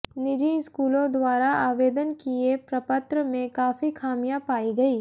निजी स्कूलों द्वारा आवेदन किए प्रपत्र में काफी खामिया पाई गई